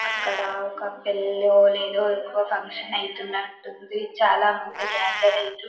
అక్కడ ఒక పెళ్ళో ఏదో ఇంకో ఫంక్షన్ ఐతునట్టు ఉంది చాల మంది గథెర్ ఐతున్రు.